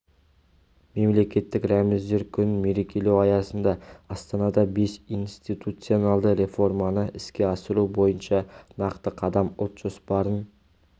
мемлекеттік рәміздер күнін мерекелеу аясында астанада бес институционалды реформаны іске асыру бойынша нақты қадам ұлт жоспарын